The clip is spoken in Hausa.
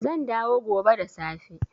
Zan dawo gobe da safe